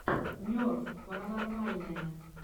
нерв паранормальное